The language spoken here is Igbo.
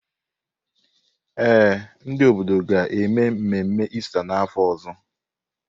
Ee, ndị obodo ga-eme mmemme Ista n’afọ ọzọ.